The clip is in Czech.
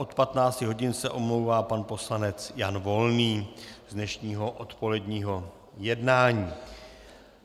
Od 15 hodin se omlouvá pan poslanec Jan Volný z dnešního odpoledního jednání.